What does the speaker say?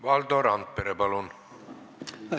Valdo Randpere, palun!